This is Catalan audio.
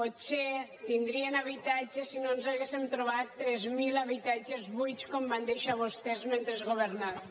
potser tindrien habitatge si no ens haguéssem trobat tres mil habitatges buits com van deixar vostès mentre governaven